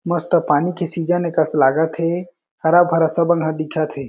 मस्त पानी के सीजन कस लागत हे हरा-भरा सब हन दिखत हे।